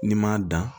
N'i m'a dan